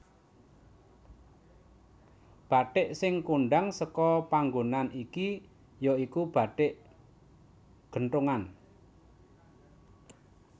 Bathik sing kondhang seka panggonan iki ya iku bathik genthongan